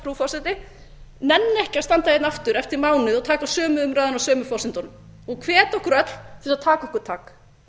nenni ekki að standa hérna aftur eftir mánuð og taka sömu umræðuna á sömu forsendunum og hvet okkur öll til þess að taka okkur tak